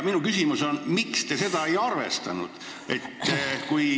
Minu küsimus on, miks te seda ei arvestanud.